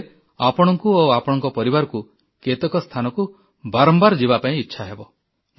ହୋଇପାରେ ଆପଣଙ୍କୁ ଓ ଆପଣଙ୍କ ପରିବାରକୁ କେତେକ ସ୍ଥାନକୁ ବାରମ୍ବାର ଯିବାପାଇଁ ଇଚ୍ଛାହେବ